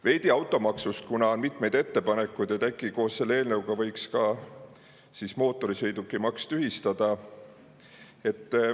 Veidi automaksust, kuna on mitmeid ettepanekuid, et äkki koos selle eelnõuga võiks ka mootorsõidukimaksu tühistada.